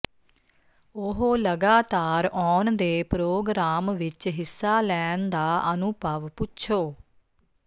ਉਹ ਲਗਾਤਾਰ ਆਉਣ ਦੇ ਪ੍ਰੋਗਰਾਮ ਵਿੱਚ ਹਿੱਸਾ ਲੈਣ ਦਾ ਅਨੁਭਵ ਪੁੱਛੋ